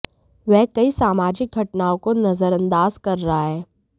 वह कई सामाजिक घटनाओं को नजरअंदाज कर रहा है